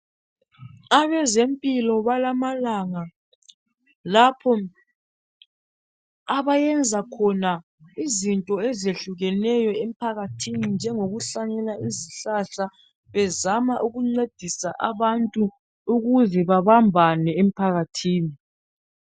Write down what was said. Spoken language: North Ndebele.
abezempilo balamanga lapho abayenza khona izinto ezehlukeneyo emphakathini njengokuhlanyela izihlahla bezama ukuncedisa abantu ukuze babambane emphakathini